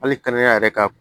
Hali kɛnɛya yɛrɛ ka